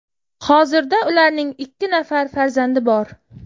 Hozirda ularning ikki nafar farzandi bor.